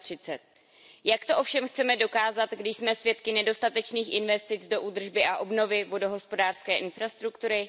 2030. Jak to ovšem chceme dokázat, když jsme svědky nedostatečných investic do údržby a obnovy vodohospodářské infrastruktury?